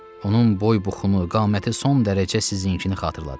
Onun boy-buxunu, qaməti son dərəcə sizinkini xatırladır.